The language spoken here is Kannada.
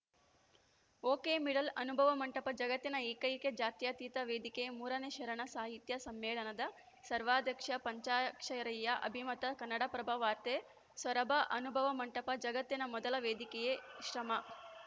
ಒಕೆಮಿಡಲ್‌ಅನುಭವ ಮಂಟಪ ಜಗತ್ತಿನ ಏಕೈಕ ಜಾತ್ಯತೀತ ವೇದಿಕೆ ಮೂರನೇ ಶರಣ ಸಾಹಿತ್ಯ ಸಮ್ಮೇಳನದ ಸರ್ವಾಧ್ಯಕ್ಷ ಪಂಚಾಕ್ಷರಯ್ಯ ಅಭಿಮತ ಕನ್ನಡಪ್ರಭ ವಾರ್ತೆ ಸೊರಬ ಅನುಭವ ಮಂಟಪ ಜಗತ್ತಿನ ಮೊದಲ ವೇದಿಕೆಯಾಗಿ ಶ್ರಮ